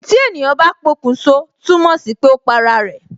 Tí ènìyàn bá pokun sọ, túmọ̀ sí pé ó pa ara rẹ